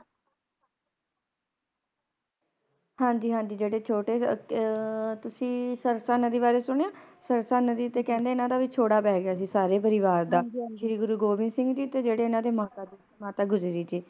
ਹਾਂਜੀ ਹਾਂਜੀ ਜਿਹੜੇ ਛੋਟੇ ਆ ਤੁਸੀਂ ਸਰਸਾ ਨਦੀ ਬਾਰੇ ਸੁਣਿਆ ਸਰਸਾ ਨਦੀ ਤੇ ਕਹਿੰਦੇ ਇਹਨਾਂ ਦਾ ਵਿਛੋੜਾ ਪੈ ਗਿਆ ਸਾਰੇ ਪਰਿਵਾਰ ਦਾ ਸ਼੍ਰੀ ਗੁਰੂ ਗੋਬਿੰਦ ਸਿੰਘ ਜੀ ਤੇ ਜਿਹੜੇ ਇਹਨਾਂ ਦੀ ਮਾਤਾ ਗੁਜਰੀ ਜੀ